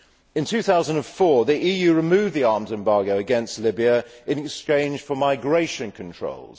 In 2004, the EU removed the arms embargo against Libya in exchange for migration controls.